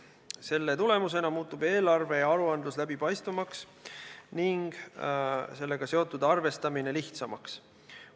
Selle tulemusena muutub eelarve ja aruandlus läbipaistvamaks ning sellega seotud arvestamine lihtsamaks.